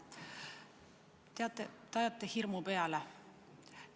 Teate, te ajate hirmu peale.